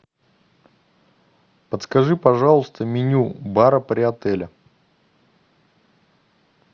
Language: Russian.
подскажи пожалуйста меню бара при отеле